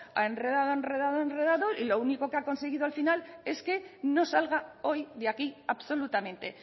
ha enredado ha enredado ha enredado y lo único que ha conseguido al final es que no salga hoy de aquí absolutamente